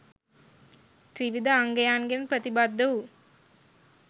ත්‍රිවිධ අංගයන්ගෙන් ප්‍රතිබද්ධ වූ